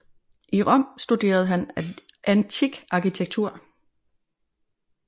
I Rom studerede han antik arkitektur